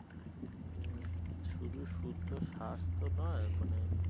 হু হু শুধু শুদ্ধ শ্বাস তো নয় মানে